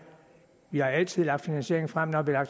vi har altid lagt finansieringen frem når vi har